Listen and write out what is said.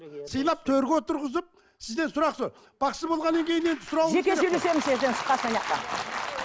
сыйлап төрге отырғызып сізден сұрақ бақсы болғаннан кейін енді сұрауымыз керек